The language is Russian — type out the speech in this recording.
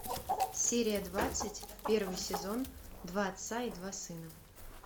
серия двадцать первый сезон два отца и два сына